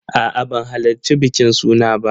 A'a, ban halarci bikin suna ba.